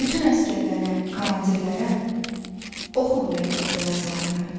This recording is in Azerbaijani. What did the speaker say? Bütün əsgərlərə, komandirlərə oxu bu məktubda yazılanları.